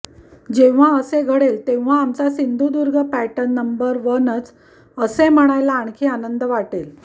जेव्हा असे घडेल तेव्हा आमचा सिंधुदुर्ग पॅटर्न नंबर वनच असे म्हणायला आणखी आनंद वाटेल